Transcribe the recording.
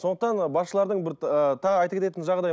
сондықтан ы басшылардың бір ы тағы айта кететін жағдай